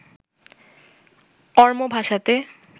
Oromo ভাষাতে